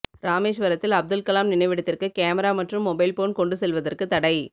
ராமேஸ்வரத்தில் அப்துல்கலாம் நினைவிடத்திற்கு கேமரா மற்றும் மொபைல் போன் கொண்டு செல்வதற்கு தடை